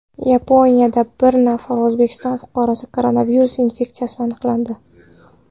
Yaponiyada bir nafar O‘zbekiston fuqarosida koronavirus infeksiyasi aniqlandi.